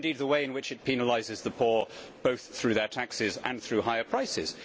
or indeed the way in which it penalises the poor both through their taxes and through higher prices.